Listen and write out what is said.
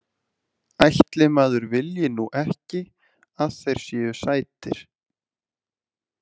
Ætli maður vilji nú ekki að þeir séu sætir.